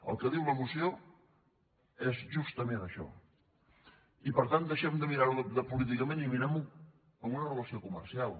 el que diu la moció és justament això i per tant deixem de mirar ho políticament i mirem ho amb una relació comercial